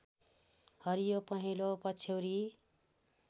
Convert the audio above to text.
हरियो पहेँलो पछ्यौरी